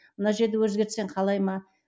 мына жерді өзгертсең қалай ма